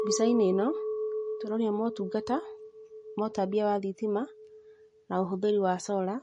Mbica-inĩ ĩno tũronio motungata ma ũtambia wa thitima na ũhũthĩri wa solar